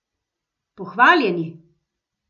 Pohvaljeni!